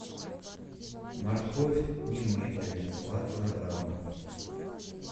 морковь немытая два килограмма